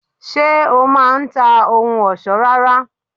Ṣé o má a n ta ohun òsó ara?